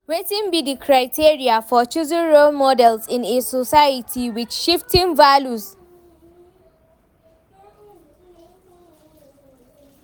Wetin be di criteria for choosing role models in a society with shifting values?